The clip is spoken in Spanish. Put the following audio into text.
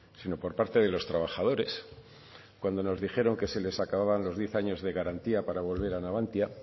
sino por parte de los trabajadores cuando nos dijeron que se les acababan los diez años de garantía para volver a navantia